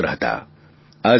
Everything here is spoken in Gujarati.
ખેડૂતના પુત્ર હતા